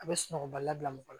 A bɛ sunɔgɔ bali la bila mɔgɔ la